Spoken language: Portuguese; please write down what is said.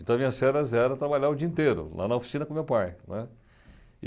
Então, minhas férias eram trabalhar o dia inteiro, lá na oficina com o meu pai, né.